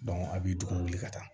a b'i dugu wuli ka taa